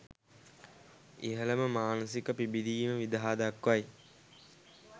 ඉහළම මානසික පිබිදීම විදහා දක්වයි.